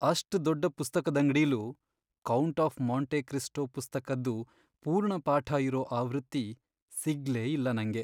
ಅಷ್ಟ್ ದೊಡ್ಡ್ ಪುಸ್ತಕದಂಗ್ಡಿಲೂ "ಕೌಂಟ್ ಆಫ್ ಮಾಂಟೆ ಕ್ರಿಸ್ಟೋ" ಪುಸ್ತಕದ್ದು ಪೂರ್ಣಪಾಠ ಇರೋ ಆವೃತ್ತಿ ಸಿಗ್ಲೇ ಇಲ್ಲ ನಂಗೆ.